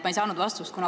Ma ei saanud vastust.